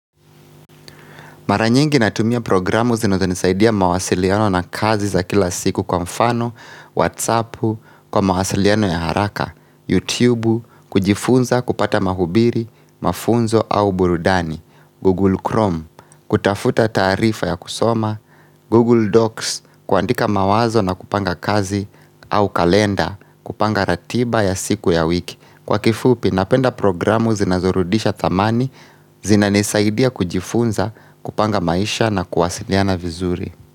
Mara nyingi natumia programu zinazonisaidia mawasiliano na kazi za kila siku kwa mfano, whatsappu, kwa mawasiliano ya haraka, youtubu, kujifunza kupata mahubiri, mafunzo au burudani, google chrome, kutafuta taarifa ya kusoma, google docs, kuandika mawazo na kupanga kazi au kalenda, kupanga ratiba ya siku ya wiki. Kwa kifupi napenda programu zinazorudisha thamani zinanisaidia kujifunza, kupanga maisha na kuwasiliana vizuri.